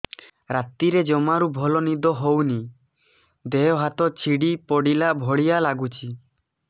ରାତିରେ ଜମାରୁ ଭଲ ନିଦ ହଉନି ଦେହ ହାତ ଛିଡି ପଡିଲା ଭଳିଆ ଲାଗୁଚି